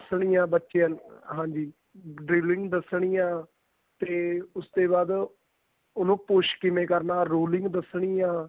ਦੱਸਣੀ ਏ ਬੱਚਿਆ ਨੂੰ ਹਾਂਜੀ driveling ਦੱਸਣੀ ਆ ਤੇ ਉਸ ਤੇ ਬਾਅਦ ਉਹਨੂੰ push ਕਿਵੇਂ ਕਰਨਾ rolling ਦੱਸਣੀ ਆ